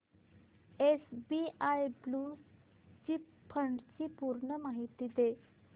SBI blue chip fund ची पूर्ण माहिती दे